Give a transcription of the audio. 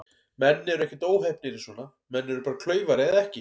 Menn eru ekkert óheppnir í svona, menn eru bara klaufar eða ekki.